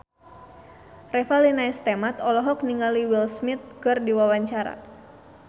Revalina S. Temat olohok ningali Will Smith keur diwawancara